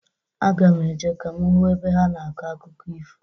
Aga m eje ka m hụ ebe ha na-akọ akụkọ ifo.